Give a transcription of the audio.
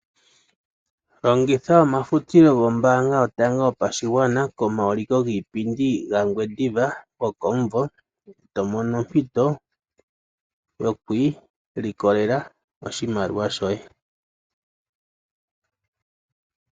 Longitha omafutilo gOmbaanga Yotango Yopashigwana komauliko giipindi gaNgwediva gokomumvo e to mono ompito yoku ilikolela oshimaliwa shoye.